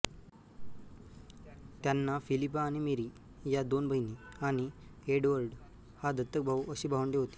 त्यांना फिलिपा आणि मेरी या दोन बहिणी आणि एडवर्ड हा दत्तक भाऊ अशी भावंडे होती